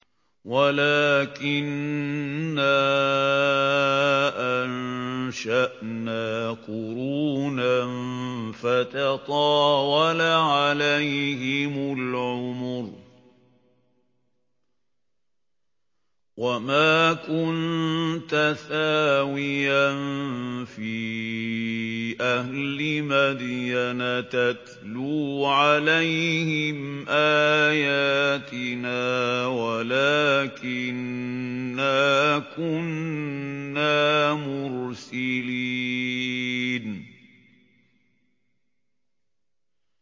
وَلَٰكِنَّا أَنشَأْنَا قُرُونًا فَتَطَاوَلَ عَلَيْهِمُ الْعُمُرُ ۚ وَمَا كُنتَ ثَاوِيًا فِي أَهْلِ مَدْيَنَ تَتْلُو عَلَيْهِمْ آيَاتِنَا وَلَٰكِنَّا كُنَّا مُرْسِلِينَ